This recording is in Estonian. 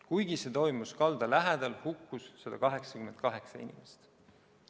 Kuigi see toimus kalda lähedal, hukkus 188 inimest.